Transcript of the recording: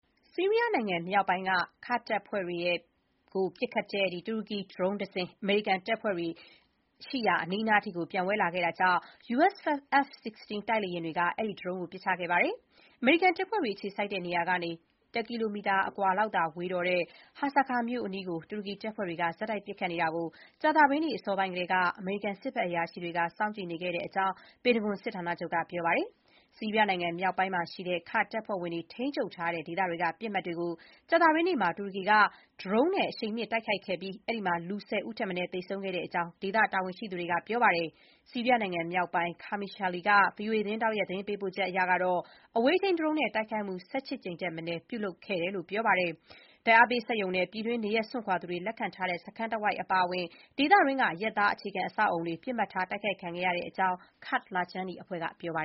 ဆီးရီးယားနိုင်ငံမြောက်ပိုင်းက ကာ့ဒ်တပ်ဖွဲ့တွေကိုပစ်ခတ်တဲ့ တူရကီ ဒရုန်းတစင်း အမေရိကန်တပ်ဖွဲ့တွေအနားထိ ပျံဝဲလာလို့ US F-16 တိုက်လေယာဥ်တွေက အဲ့ဒီဒရုန်းကို ပစ်ချခဲ့ပါတယ်။ အမေရိကန်တပ်ဖွဲ့တွေ အခြေစိုက်တဲ့နေရာကနေ တစ်ကီလိုမီတာအကွာလောက်သာဝေးတော့တဲ့ Hasakah မြို့အနီးကို တူရကီတပ်ဖွဲ့တွေက ဆက်တိုက် ပစ်ခတ်နေတာကို ကြာသပတေးနေ့ အစောပိုင်းကတည်းက အမေရိကန် စစ်ဘက်အရာရှိတွေက စောင့်ကြည့်နေခဲ့တဲ့အကြောင်း ပင်တဂွန်စစ်ဌာနချုပ်က ပြောပါတယ်။ ဆီးရီးယားနိုင်ငံမြောက်ပိုင်းရှိတဲ့ ကာ့ဒ်တပ်ဖွဲ့ဝင်တွေ ထိန်းချုပ်တဲ့ဒေသတွေက ပစ်မှတ်တွေကို ကြာသပတေးနေ့မှာ တူရကီက ဒရုန်းနဲ့အရှိန်မြှင့်တိုက်ခိုက်ခဲ့ပြီး အဲဒီမှာ လူ ၁၀ ဦးထက်မနည်း သေဆုံးခဲ့ကြောင်း ဒေသတာဝန်ရှိသူတွေက ပြောပါတယ်။ ဆီးရီးယားနိုင်ငံမြောက်ပိုင်း Qamishli က VOA သတင်းထောက်ရဲ့ သတင်းပေးပို့ချက်အရ အဝေးထိန်းဒရုန်းတွေနဲ့ တိုက်ခိုက်မှု ၁၈ ကြိမ်ထက်မနည်း ပြုလုပ်ခဲ့ပါတယ်။ ဓာတ်အားပေးစက်ရုံနဲ့ ပြည်တွင်း နေရပ်စွန့်ခွာသူတွေလက်ခံထားတဲ့ စခန်းတဝိုက် အပါအဝင် ဒေသတွင်းက အရပ်သား အခြေခံအဆောက်အအုံတွေ ပစ်မှတ်ထား တိုက်ခိုက်ခံခဲ့ရကြောင်း ကာ့ဒ်လခြမ်းနီအဖွဲ့က ပြောပါ